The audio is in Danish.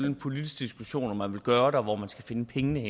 en politisk diskussion om man vil gøre det og hvor man skal finde pengene